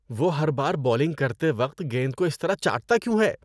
وہ ہر بار بولنگ کرتے وقت گیند کو اس طرح چاٹتا کیوں ہے؟